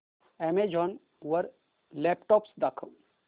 Amazon वर laptops दाखव